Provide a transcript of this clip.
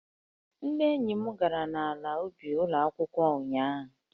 Ndị enyi m gara n'ala ubi ụlọ akwụkwọ ụnyahụ